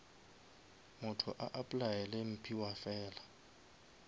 motho a applyele mphiwafela